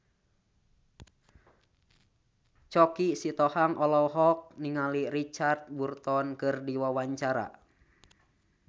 Choky Sitohang olohok ningali Richard Burton keur diwawancara